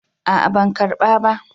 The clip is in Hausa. A'a ban karɓa ba.